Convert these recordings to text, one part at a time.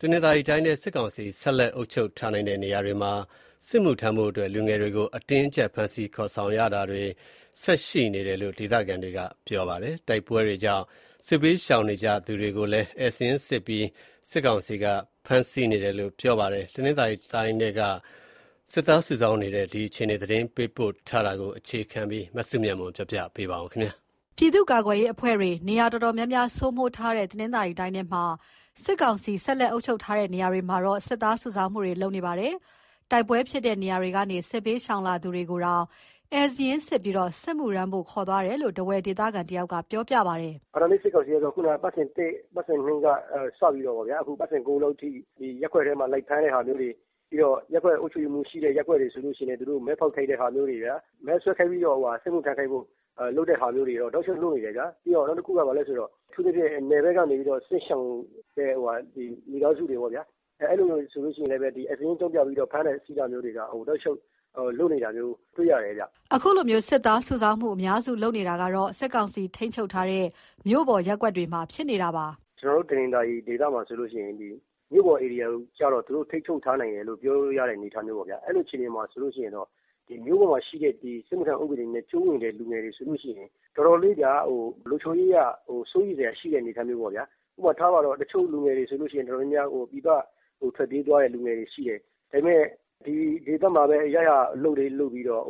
တနင်္သာရီတိုင်းထဲက စစ်ကောင်စီဆက်လက်အုပ်ချုပ်ထားနိုင်တဲ့ နေရာတွေမှာ စစ်မှုထမ်းဖို့အတွက် လူငယ်တွေကို အတင်းအကြပ် ဖမ်းဆီးခေါ်ဆောင်ခံရတာတွေ ဆက်ရှိနေတယ်လို့ ဒေသခံတွေက ပြောပါတယ်။ တိုက်ပွဲတွေကြောင့် စစ်ဘေးရှောင်နေကြသူတွေကိုလည်း ဧည့်စာရင်းစစ်ပြီး ဖမ်းဆီးနေပါတယ်။ တနင်္သာရီတိုင်းထဲက စစ်သားစုဆောင်းနေတဲ့ အခြေအနေသတင်းပေးပို့ချက်ကို အခြေခံပြီး တင်ပြထားပါတယ်။ ပြည်သူ့ကာကွယ်ရေးအဖွဲ့တွေ နေရာတော်တော်များများ စိုးမိုးထားတဲ့ တနင်္သာရီတိုင်းထဲမှာ စစ်ကောင်စီ ဆက်လက်အုပ်ချုပ်ထားတဲ့ နေရာတွေမှာ စစ်သားစုဆောင်းမှုတွေ လုပ်နေပါတယ်။ တိုက်ပွဲဖြစ်တဲ့နေရာတွေကနေ စစ်ဘေးရှောင်လာသူတွေကိုတောင် ဧည့်စာရင်းစစ်ပြီး စစ်မှုထမ်းဖို့ ခေါ်သွားနေတယ်လို့ ထားဝယ်ဒေသခံတယောက်က ပြောပြပါတယ်။ "အာဏာသိမ်း စစ်ကောင်စီကတော့ အပတ်စဉ် ၁ ကနေစပြီးတော့ အခု အပတ်စဉ် ၉ လောက်အထိ ရပ်ကွက်ထဲမှာ လိုက်ဖမ်းတဲ့ဟာမျိုးတွေ၊ ပြီးတော့ ရပ်ကွက်အုပ်ချုပ်ရေးမှူးရှိတဲ့ ရပ်ကွက်တွေဆိုလို့ရှိရင် သူတို့မဲဖောက်ခိုင်းတာမျိုးတွေ၊ မဲဆွယ်ခိုင်းပြီးတော့ စစ်မှုထမ်းခိုင်းတာမျိုးတွေတော့ တောက်လျှောက်လုပ်နေတယ်ဗျာ။ နောက်တခုက အထူးသဖြင့် နယ်ဘက်ကနေ စစ်ရှောင်ကြတဲ့ မိသားစုတွေကို ဧည့်စာရင်းအကြောင်းပြ ဖမ်းဆီးတာမျိုးတွေက တောက်လျှောက်လုပ်နေတာမျိုး တွေ့ရတယ်ဗျ။" အခုလို စစ်သားစုဆောင်းမှုတွေ အများစုလုပ်နေတာက စစ်ကောင်စီ ထိန်းချုပ်ထားနိုင်တဲ့ မြို့ပေါ်ရပ်ကွက်တွေမှာ ဖြစ်နေတာပါ။ "ကျနော်တို့ တနင်္သာရီဒေသမှာဆိုရင် မြို့ပေါ်ဧရိယာကျတော့ သူတို့ ထိန်းချုပ်ထားနိုင်တယ်လို့ ပြောလို့ရတဲ့ အနေအထားပေါ့ဗျာ။ အဲလိုဆိုတော့ မြို့ပေါ်မှာရှိတဲ့ စစ်မှုထမ်းနဲ့ အကျုံးဝင်တဲ့ လူငယ်တွေဆိုလို့ရှိရင် လုံခြုံရေးအရ တော်တော်လေးစိုးရိမ်စရာ အနေအထားမျိုးပေါ့။ တချို့လူငယ်တွေဆိုရင် ပြည်ပထွက်ပြေးသွားတဲ့ လူငယ်တွေရှိတယ်။ ဒါပေမဲ့ ဒီဒေသမှာပဲ ရရာအလုပ်လေး လုပ်ပြီးတော့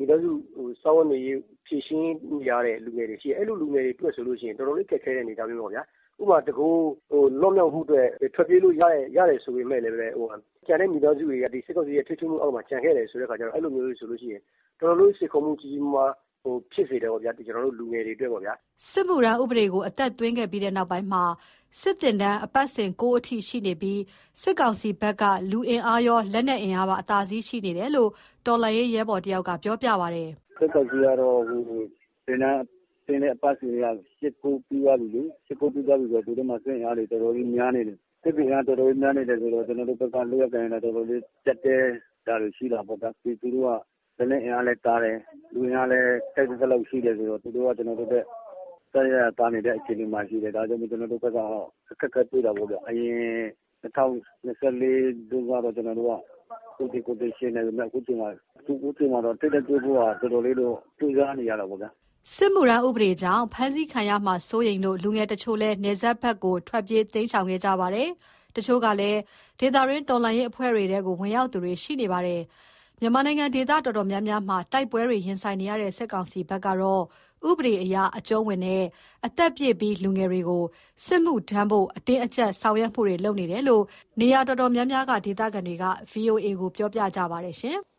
မိသားစုစားဝတ်နေရေး ဖြေရှင်းနေရတဲ့ လူငယ်တွေရှိတယ်။ အဲလိုလူငယ်တွေဆိုရင် တော်တော်လေးခက်ခဲတဲ့ အနေအထားမျိုးပေါ့။ ဥပမာ တကိုယ်ရည်စာ လွတ်မြောက်မှုအတွက် ထွက်ပြေးလို့ရတယ် ဆိုပေမယ့်လည်း မိသားစုတွေက စစ်ကောင်စီရဲ့ ထိန်းချုပ်မှုအောက်မှာ ကျန်ခဲ့တယ်ဆိုတော့ စိန်ခေါ်မှုကြီးကြီးမားမား ဖြစ်စေတာပေါ့၊ လူငယ်တွေအတွက်။" စစ်မှုထမ်းဥပဒေကို အသက်သွင်းခဲ့ပြီးနောက်ပိုင်းမှာ စစ်သင်တန်းအပတ်စဉ် ၉ အထိရှိနေပြီး စစ်ကောင်စီဘက်က လူအင်အားရော၊ လက်နက်အင်အားပါ အသာစီးရှိနေတယ်လို့ တော်လှန်ရေးရဲဘော်တဦးက ပြောပါတယ်။ "စစ်ကောင်စီက အခုသင်တန်းဆင်းတဲ့ အပတ်စဉ်က ၈၊ ၉ ပြီးသွားပြီလေ။ ဆိုတော့ သူတို့မှာ စစ်အင်အားတွေ တော်တော်လေးများနေတယ်။ အဲတော့ ကျနော်တို့ဘက်က လုပ်ရကိုင်ရတာ ကျပ်တည်းတာလည်း ရှိတာပေါ့ဗျာ။ သူတို့က လက်နက်အင်အားလည်း သာတယ်။ လူအင်အားလည်း ထိုက်သင့်သလောက် ရှိတယ်ဆိုတော့ သူတို့က ကျနော်တို့ထက် အစစအရာရာ သာနေတဲ့ဘက်မှာ ရှိတယ်။ ဒါကြောင့်မို့ ကျနော်တို့ အခက်အခဲတွေ့တာပေါ့ဗျ။ အရင် ၂၀၂၄ တုန်းကတော့ ကျနော်တို့က သူသေကိုယ်သေ ယှဉ်နိုင်ပေမယ့် အခုချိန်မှာတော့ ထိပ်တိုက်တွေ့ဖို့က တော်တော်လေးတော့ ကြိုးစားနေရတာပေါ့ဗျာ။" စစ်မှုထမ်းဥပဒေကြောင့် ဖမ်းဆီးခံရမှာစိုးရိမ်လို့ လူငယ်တချို့လည်း နယ်စပ်ဘက်ကို ထွက်ပြေးတိမ်းရှောင်ခဲ့ကြပါတယ်။ တချို့ကလည်း ဒေသတွင်းတော်လှန်ရေး အဖွဲ့တွေထဲ ဝင်ရောက်သူတွေလည်း ရှိနေပါတယ်။ မြန်မာနိုင်ငံ ဒေသတော်တော်များများမှာ တိုက်ပွဲတွေရင်ဆိုင်နေရတဲ့ စစ်ကောင်စီဘက်ကတော့ ဥပဒေအရ အကြုံးဝင်တဲ့ အသက်ပြည့်ပြီး လူငယ်တွေကို စစ်မှုထမ်းဖို့ အတင်းအကြပ်ဆောင်ရွက်မှုတွေလုပ်နေတယ်လို့ နေရာတော်တော်များများက ဒေသခံတွေက VOA ကိုပြောပြကြပါတယ်ရှင်။